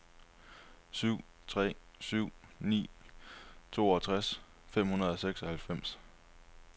syv tre syv ni toogtres fem hundrede og seksoghalvfems